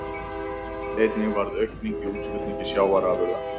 Einnig varð aukning í útflutningi sjávarafurða